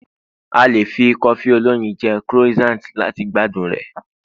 a lè fi cofi oloyin je croissant lati gbádùn rẹ